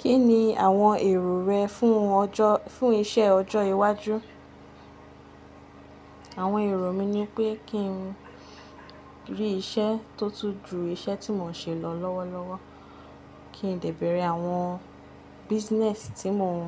Kí ni àwọn èrò rẹ fún ọjọ́, fún iṣẹ́ ọjọ́ iwájú? Àwọn èrò mi ni pé kí n rí iṣẹ́ tó tún ju iṣẹ́ tí mò ń ṣe lọ lọ́wọ́lọ́wọ́. Kí n lè bẹ̀rẹ̀ àwọn business tí mò ń,